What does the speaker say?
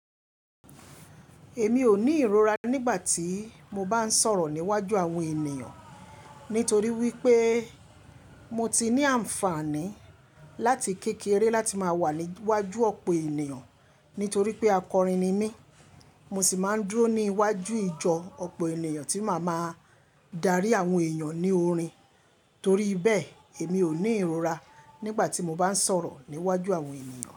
Èmi ò ní ìrora nígbà tí mo bá ń sọ̀rọ̀ níwájú àwọn ènìyàn, nítorí wípé mo ti ní àǹfààní láti kékeré láti máa wà níwájú ọ̀pọ̀ ènìyàn. Nítorí pé akọrin ni mí, mo sì máa ń dúró ní iwájú ìjọ ọ̀pọ̀ ènìyàn tí màá máa darí àwọn èèyàn ní orin. Torí bẹ́ẹ̀ èmi ò ní ìrora nígbà tí mo bá ń sọ̀rọ̀ níwájú àwọn ènìyàn.